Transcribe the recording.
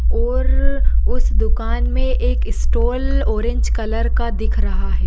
और उस दुकान मे एक स्टॉल ऑरेंज कलर का दिख रहा है।